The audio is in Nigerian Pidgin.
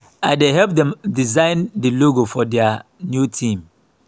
i dey help dem design the logo for their new theme